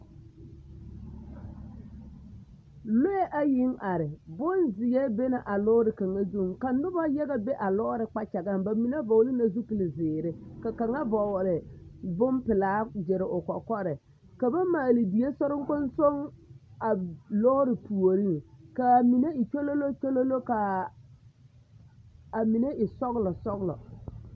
Lɔɛ ayiŋ are, bonzeɛ bena a lɔɔre kaŋa zuŋ ka noba yaga be lɔɔre kpakyagaŋ, bamine vɔgele la zupili zeere ka kaŋa vɔgele bompelaa gyere o kɔkɔre ka ba maale die soriŋkonsoŋ a lɔɔre puoriŋ k'a mine e kyololokyolo k'a amine e sɔgelɔ sɔgelɔ.